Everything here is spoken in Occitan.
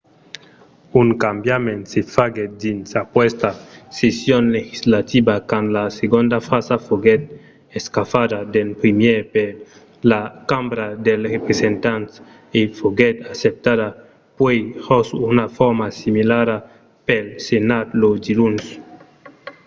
un cambiament se faguèt dins aquesta session legislativa quand la segonda frasa foguèt escafada d’en primièr per la cambra dels representants e foguèt acceptada puèi jos una forma similara pel senat lo diluns